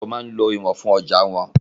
Àwọn oníṣòwò máa ń lo ìwọ̀n fún ọjàa wọn.